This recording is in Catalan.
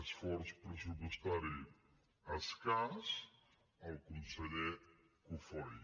esforç pressupostari escàs el conseller cofoi